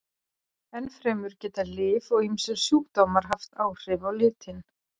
Ennfremur geta lyf og ýmsir sjúkdómar haft áhrif á litinn.